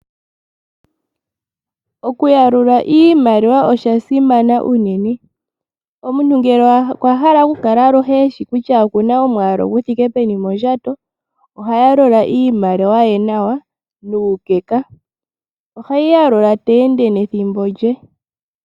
Okuyalula iimaliwa oshasimana unene. Omuntu ngele okwahala okukala aluhe eshi kutya okuna omwaalu guthike peni mondjato, ohayalula iimaliwa ye nawa nuukeka. Oheyi yalula teende nethimbo lye.